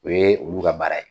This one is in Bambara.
O ye olu ka baara ye.